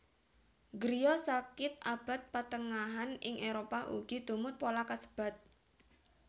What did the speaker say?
Griya sakit abad patengahan ing Éropah ugi tumut pola kasebat